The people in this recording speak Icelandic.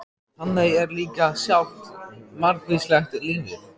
En þannig er líka lífið sjálft- margvíslegt lífið.